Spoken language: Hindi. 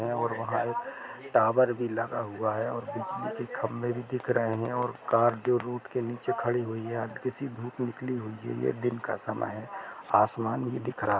और वहां एक टावर भी लगा हुआ है और बिजली के खम्भे भी दिख रहे हैं और कार जो रूड के नीचे खड़ी है हल्की सी धूप हुई है ये दिन का समय है आसमान भी दिख रहा है।